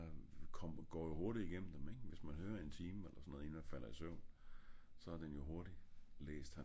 jeg **UF*** jeg går jo hurtig igennem ing hvis man høre en time eller sådan noget inden man falder i søvn